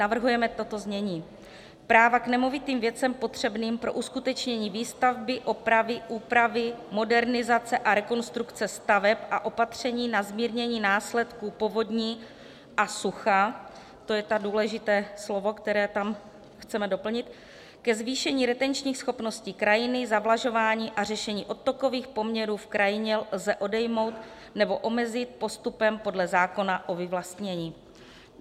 Navrhujeme toto znění: Práva k nemovitým věcem potřebným pro uskutečnění výstavby, opravy, úpravy, modernizace a rekonstrukce staveb a opatření na zmírnění následků povodní a sucha - to je to důležité slovo, které tam chceme doplnit - ke zvýšení retenčních schopností krajiny, zavlažování a řešení odtokových poměrů v krajině lze odejmout nebo omezit postupem podle zákona o vyvlastnění.